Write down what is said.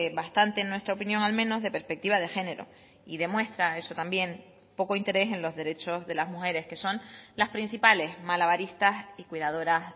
bastante en nuestra opinión al menos de perspectiva de género y demuestra eso también poco interés en los derechos de las mujeres que son las principales malabaristas y cuidadoras